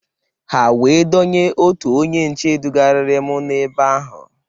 Ha wee dunye otu onye nche dugarịrị m na-ebe ahụ.